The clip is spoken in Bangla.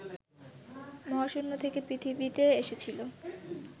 মহাশূন্য থেকে পৃথিবীতে এসেছিল